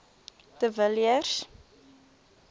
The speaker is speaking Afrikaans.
de villiers